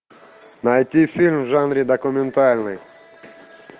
найти фильм в жанре документальный